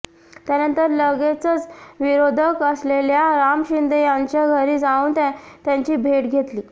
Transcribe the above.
त्यानंतर लगेचच विरोधक असलेल्या राम शिंदे यांच्या घरी जाऊन त्यांची भेट घेतली